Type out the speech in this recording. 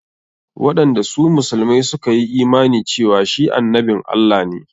Wanda su musulmai suka yi imani cewa shi annabin Allah ne.